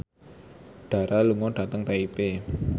Dara lunga dhateng Taipei